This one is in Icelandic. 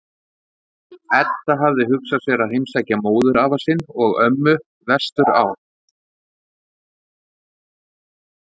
Edda hafði hugsað sér að heimsækja móðurafa sinn og-ömmu vestur á